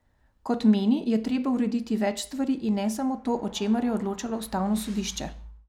Kot meni, je treba urediti več stvari in ne samo to, o čemer je odločalo ustavno sodišče.